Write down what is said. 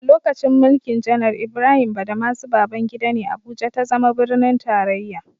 A lokacin mulkin janar Ibrahim Badamasi Babangida ne, Abuja ta zama birnin tarraya.